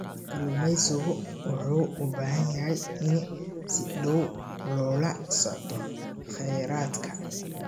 Kalluumeysigu wuxuu u baahan yahay in si dhow loola socdo kheyraadka.